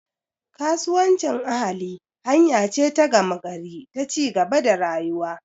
Kasuwancin ahali hanya ce ta gama gari ta ci gaba da rayuwa.